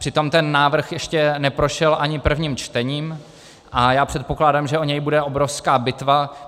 Přitom ten návrh ještě neprošel ani prvním čtením a já předpokládám, že o něj bude obrovská bitva.